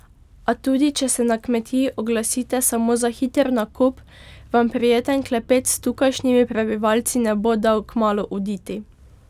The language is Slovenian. A tudi če se na kmetiji oglasite samo na hiter nakup, vam prijeten klepet s tukajšnjimi prebivalci ne bo dal kmalu oditi.